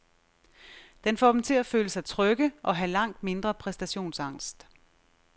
Den får dem til at føle sig trygge og have langt mindre præstationsangst.